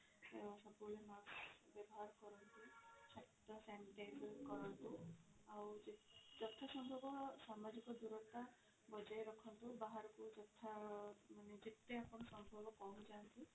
ସବୁ ବେଳେ mask ବ୍ୟବହାର କରନ୍ତୁ ହାତ sanitizer କରନ୍ତୁ ଆଉ ଯଥା ସମ୍ଭବ ସାମାଜିକ ଦୂରତା ବଜାୟ ରଖନ୍ତୁ ବାହାର ଯଥା ମାନେ ଯେତେ ଆପଣ ସମ୍ଭବ ପହଞ୍ଚାନ୍ତୁ